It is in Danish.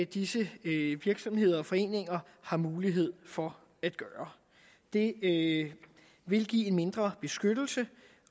disse virksomheder og foreninger har mulighed for at gøre det det vil give mindre beskyttelse